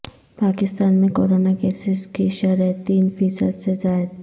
پاکستان میں corona cases کی شرح تین فی صد سے زائد